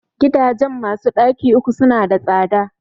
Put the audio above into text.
Gidajen masu ɗaki uku su na da tsada